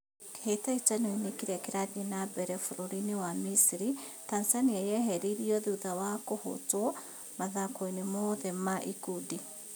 Kĩhĩtahĩtanoinĩ kĩrĩa kĩrathiĩ na mbere bũrũrinĩ wa Misiri, Tanzania yeheririo thutha wa kũhotwo mathakoinĩ mothe ma ikundi.